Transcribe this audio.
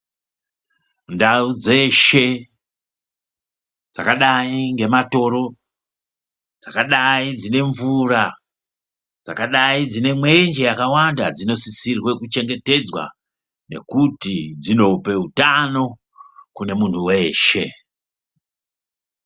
Ndau dzeshe dzakadai ngematoro, dzakadai dzine mvura, dzakadai dzine mwenje yakawanda dzinosisirwe kuchengetedzwa, nokuti dzinope utano kune munhu weshe.